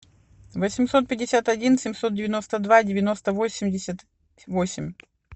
восемьсот пятьдесят один семьсот девяносто два девяносто восемьдесят восемь